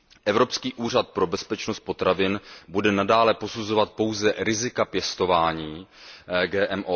Evropský úřad pro bezpečnost potravin bude nadále posuzovat pouze rizika pěstování GMO.